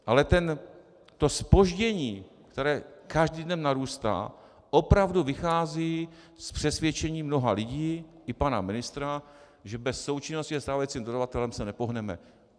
Ale to zpoždění, které každým dnem narůstá, opravdu vychází z přesvědčení mnoha lidí i pana ministra, že bez součinnosti se stávajícím dodavatelem se nepohneme.